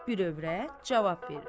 Bir övrət cavab verir.